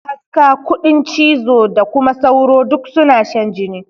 Kaska, kuɗin cizo da kuma sauro duk suna shan jini.